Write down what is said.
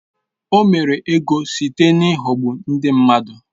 O mere ego site n’ịghọgbu ndị mmadụ.